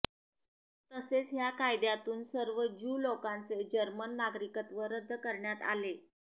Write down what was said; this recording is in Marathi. तसेच ह्या कायद्यातून सर्व ज्यू लोकांचे जर्मन नागरिकत्व रद्द करण्यात आले